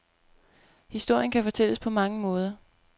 Historien kan fortælles på mange måder.